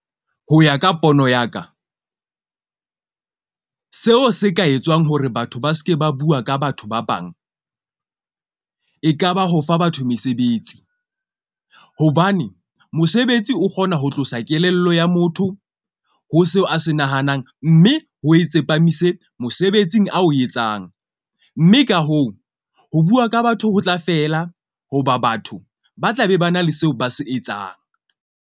Ho ya ka pono ya ka seo se ka etswang hore batho ba seke ba bua ka batho ba bang, e kaba ho fa batho mesebetsi. Hobane mosebetsi o kgona ho tlosa kelello ya motho ho seo a se nahanang. Mme ho e tsepamise mosebetsing a o etsang. Mme ka hoo, ho bua ka batho ho tla fela hoba batho ba tla be ba na le seo ba se etsang.